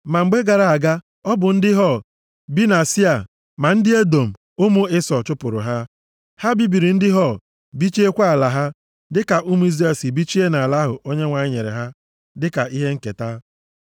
Ma mgbe gara aga ọ bụ ndị Hor bi na Sia, ma ndị Edọm, ụmụ Ịsọ, chụpụrụ ha. Ha bibiri ndị Hor bichikwaa ala ha, dịka ụmụ Izrel si bichie nʼala ahụ Onyenwe anyị nyere ha dịka ihe nketa.)